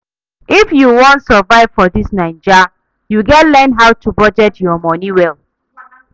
If you wan survive for dis Naija, you gats learn how to budget your moni well.